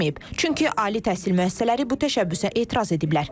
Çünki ali təhsil müəssisələri bu təşəbbüsə etiraz ediblər.